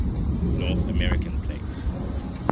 north american plate